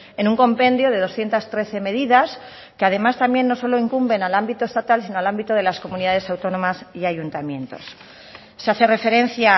en un compendio de doscientos trece medidas que además también no solo incumben al ámbito estatal sino al ámbito de las comunidades autónomas y ayuntamientos se hace referencia a